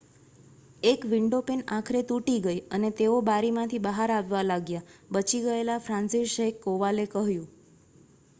"eએક windowpane આખરે તૂટી ગઈ અને તેઓ બારીમાંથી બહાર આવવા લાગ્યા," બચી ગયેલા ફ્રાન્સિસઝેક કોવાલે કહ્યું.